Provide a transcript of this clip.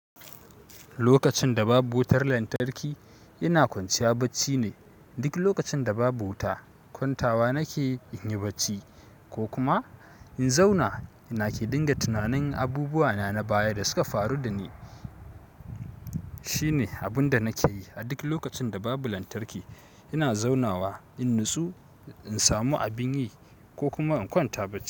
Lokacin da babu wutar lantarki, ina kwanciya bacci ne. Duk lokacin da babu wuta, kwantawa nake in yi bacci ko kuma in zauna ina ke dinga tunanin abubuwa na baya da suka faru da ni. Shine abun da nake yi a duk lokacin da babu lantarki. Ina zaunawa in natsu, in samu abun yi, ko kuma in kwanta bacci.